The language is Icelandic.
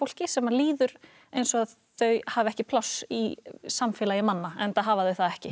sem líður eins og þau hafi ekki pláss í samfélagi manna enda hafa þau það ekki